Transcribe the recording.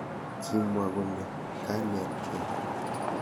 kimwa kole kanetkei